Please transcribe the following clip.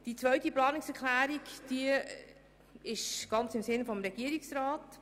Die zweite Planungserklärung ist ganz im Sinn des Regierungsrats.